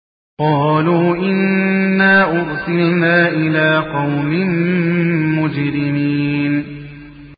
قَالُوا إِنَّا أُرْسِلْنَا إِلَىٰ قَوْمٍ مُّجْرِمِينَ